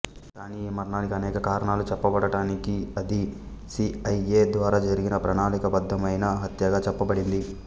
కానీ ఈ మరణానికి అనేక కారణాలు చెప్పబడినప్పటికీ అది సి ఐ ఎ ద్వారా జరిగిన ప్రణాళికాబద్ధమైన హత్యగా చెప్పబడింది